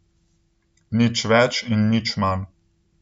Nič več in nič manj.